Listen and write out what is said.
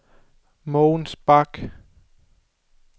Mogens Bak